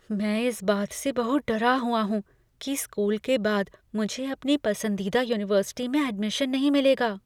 मैं इस बात से बहुत डरा हुआ हूँ कि स्कूल के बाद मुझे अपनी पसंदीदा यूनिवर्सिटी में एडमिशन नहीं मिलेगा।